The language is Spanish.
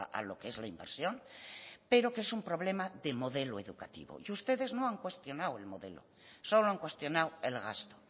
a lo que es la inversión pero que es un problema de modelo educativo y ustedes no han cuestionado el modelo solo han cuestionado el gasto